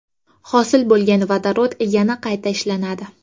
Hosil bo‘lgan vodorod yana qayta ishlanadi.